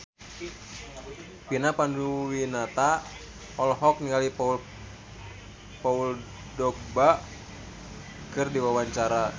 Vina Panduwinata olohok ningali Paul Dogba keur diwawancara